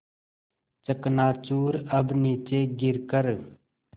चकनाचूर अब नीचे गिर कर